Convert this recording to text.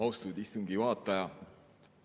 Austatud istungi juhataja!